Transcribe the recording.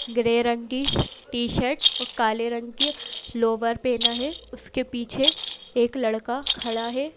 Grey रंग की t-shirt और काले रंग की लोवर पहना है उसके पीछे एक लड़का खड़ा है।